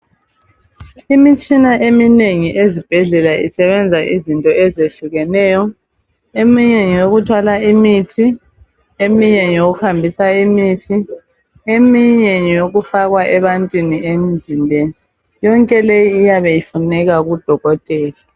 Imitshina eminengi ezibhendlela isebenza izinto ezehlukeneyo eminye ngeyokuthwala imithi eminye ngeyokuhambisa imithi eminye fakwa ebantwini lemzimbeni yonke leyi iyabe ifunela kudokotela.